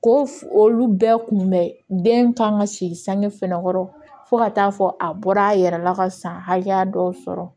Ko olu bɛɛ kun bɛn kan ka si sange fɛnɛ kɔrɔ fo ka taa fɔ a bɔra a yɛrɛ la ka san hakɛya dɔw sɔrɔ